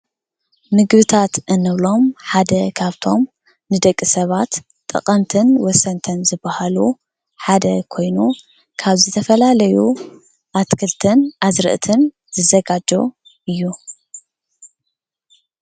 ምግብታት እንብሎም ሓደ ካብቶም ንደቂ ሰባት ጠቀምትን ወሰንትን ዝባሃሉ ሓደ ኮይኑ ካብ ዝተፈላለዩ ኣትክልትን ኣዝርእትን ዝዘጋጆ እዩ።